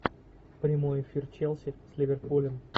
прямой эфир челси с ливерпулем